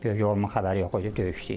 Böyük oğlumun xəbəri yox idi, döyüşdə idi.